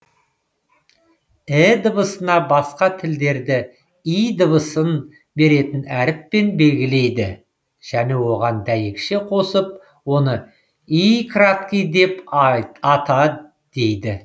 і дыбысына басқа тілдерде й дыбысын беретін әріппен белгілейді және оған дәйекше қосып оны й деп ата дейді